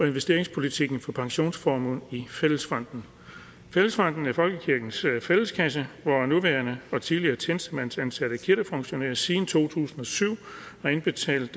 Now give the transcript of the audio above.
investeringspolitikken for pensionsformuen i fællesbanken fællesbanken er folkekirkens fælleskasse hvor nuværende og tidligere tjenestemandsansatte kirkefunktionærer siden to tusind og syv har indbetalt